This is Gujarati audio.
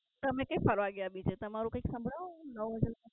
તમે કઈ ફરવા ગયા બીજે તમારું કઈ સંભળાવો નવું હોય તો